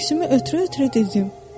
Köksümü ötürə-ötürə dedim: